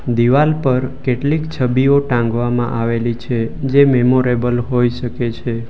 દિવાલ પર કેટલીક છબીઓ ટાંગવામાં આવેલી છે જે મેમોરેબલ હોઈ શકે છે.